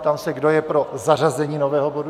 Ptám se, kdo je pro zařazení nového bodu.